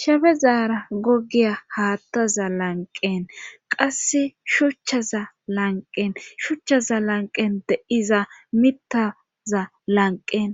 Shefe zaara gogiya haattaza lanqen qasse shuchchaza lanqen shuchchaza lanqen de iza mittaza lanqen